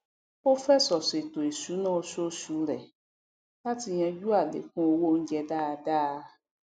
ó fẹsọ ṣètò ìṣúná oṣooṣù rẹ latí yanjú àlékún owó oúnjẹ dáadá